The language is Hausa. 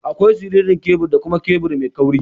Akwai siririn kebur da kuma kebur mai kauri.